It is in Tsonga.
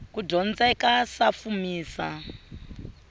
kudyondzeka sa fumisa